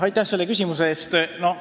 Aitäh selle küsimuse eest!